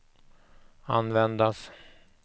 användas